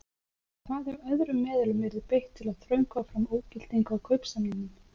En hvað ef öðrum meðulum yrði beitt til að þröngva fram ógildingu á kaupsamningnum?